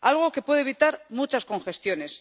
algo que puede evitar muchas congestiones.